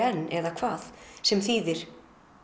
enn eða hvað sem þýðir